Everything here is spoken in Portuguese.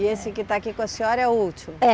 E esse que está aqui com a senhora é o último? É